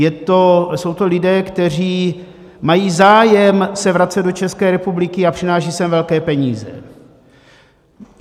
Jsou to lidé, kteří mají zájem se vracet do České republiky a přinášejí sem velké peníze.